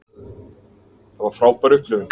Það var frábær upplifun.